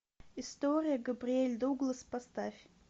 история габриэль дуглас поставь